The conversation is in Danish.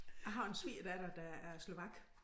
Jeg har en svigerdatter der er slovak